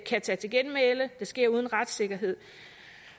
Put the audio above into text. tage til genmæle det sker uden retssikkerhed